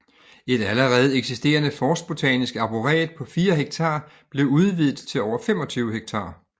Et allerede eksisterende forstbotanisk arboret på 4 ha blev udvidet til over 25 ha